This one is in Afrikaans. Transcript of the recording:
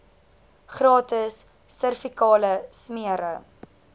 gratis servikale smere